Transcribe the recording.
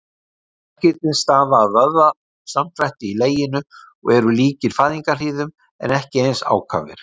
Verkirnir stafa af vöðvasamdrætti í leginu og eru líkir fæðingarhríðum en ekki eins ákafir.